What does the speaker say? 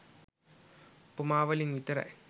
උපමා වලින් විතරයි.